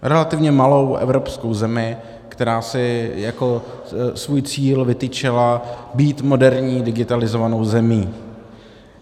Relativně malou evropskou zemi, která si jako svůj cíl vytyčila být moderní digitalizovanou zemí.